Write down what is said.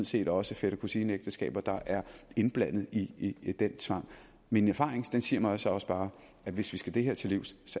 set også fætter kusine ægteskaber der er indblandet i den tvang min erfaring siger mig så også bare at hvis vi skal det her til livs